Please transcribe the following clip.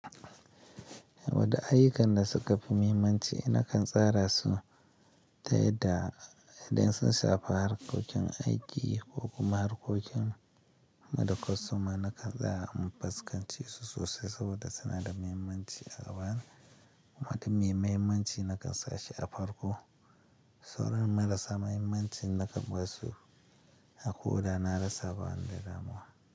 Wadda ayyukan da suka fi muhimmanci nakan tsara su ta yadda idan sun shafi harkokin aiki ko kuma harkokin maɗakasu ma nakan tsara in fuskanci su sosai saboda suna da mahimmanci a zaman. Wadanne mahimmanci nakan sashi a farko, sauran marasa mahimmanci nakan basu a koda na rasa ban da damuwa.